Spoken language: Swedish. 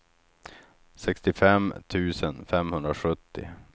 sextiofem tusen femhundrasjuttio